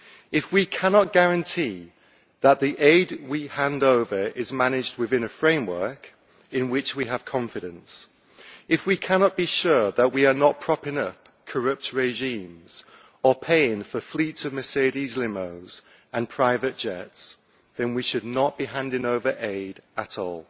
If we cannot guarantee that the aid we hand over is managed within a framework in which we have confidence, if we cannot be sure that we are not propping up corrupt regimes or paying for fleets of Mercedes limos and private jets, then we should not be handing over aid at all.